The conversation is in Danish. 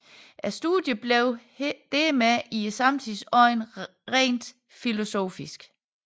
Studiet blev dermed i samtidens øjne rent filosofisk